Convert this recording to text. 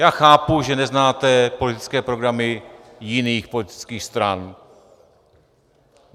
Já chápu, že neznáte politické programy jiných politických stran.